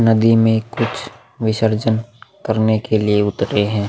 नदी में कुछ विसर्जन करने के लिए उतरे हैं।